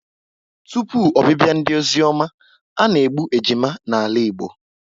Tụpụ obibia ndị ozioma, ana-egbu ejima n'ala Igbo